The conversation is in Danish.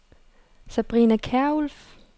Sabrina Kjærulff